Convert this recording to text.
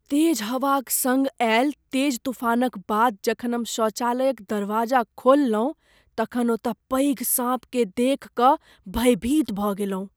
तेज हवाक सङ्ग आयल तेज तूफानक बाद जखन हम शौचालयक दरवाजा खोललहुँ तखन ओतय पैघ साँपकेँ देखि कऽ भयभीत भऽ गेलहुँ।